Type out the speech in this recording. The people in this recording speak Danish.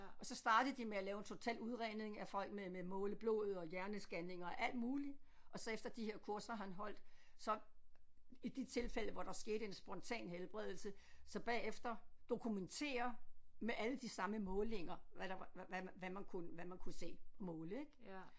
Og så startede de med at lave en total udredning af folk med med måle blod og hjerneskanninger og alt muligt og så efter de her kurser han holdt så i de tilfælde hvor der skete en spontan helbredelse så bagefter dokumentere med alle de samme målinger hvad der var hvad hvad man kunne hvad man kunne se måle ik